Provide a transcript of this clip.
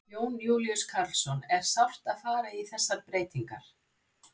Jón Júlíus Karlsson: Er sárt að fara í þessar breytingar?